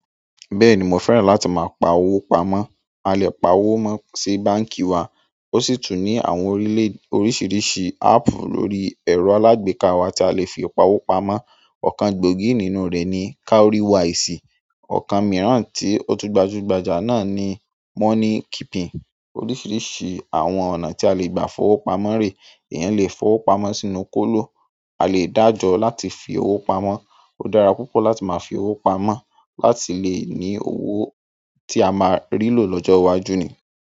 Bẹ́ẹ̀ni mo fẹ́ràn láti máa pa owó pamọ́. A lè pa owó mó sí báǹkì wa, ó sì tún ní àwọn orílẹ̀ oríṣiríṣi áàpù lórí ẹ̀rọ alágbèéká wa tí a lè fi pa owó pamọ́. Ọ̀kan gbòógì nínú rẹ̀ ni Cowrywise, ọ̀kan mìíràn tí otú gbajúgbajà náà ni Money Keeping. Oríṣiríṣi àwọn ọ̀nà tí a lè gbà fọwọ́ pamọ́ rè. Ìyan le fọwọ́ pamọ́ sínú kóló. A lè dájọ láti fi owó pamọ́. Ó dára púpọ̀ láti máa fi owó pamọ́ láti lè ní owó tí a máa rí lò lọ́jọ́ iwájú ni.